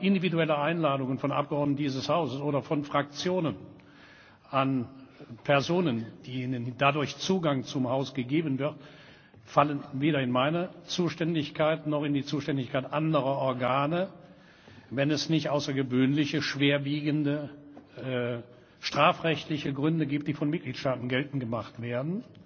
Aber individuelle Einladungen von Abgeordneten dieses Hauses oder von Fraktionen an Personen, denen dadurch Zugang zu unserem Haus gegeben wird, fallen weder in meine Zuständigkeit noch in die Zuständigkeit anderer Organe, wenn es nicht außergewöhnliche, schwerwiegende strafrechtliche Gründe gibt, die von Mitgliedstaaten geltend gemacht werden.